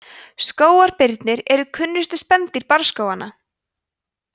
skógarbirnir eru kunnustu spendýr barrskóganna